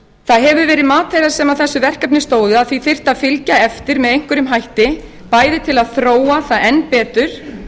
það hefur verið mat þeirra sem að þessu verkefni stóðu að því þyrfti að fylgja eftir með einhverjum hætti bæði til að þróa það enn betur